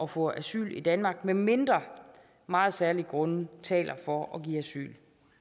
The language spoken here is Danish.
få asyl i danmark medmindre meget særlige grunde taler for at give asyl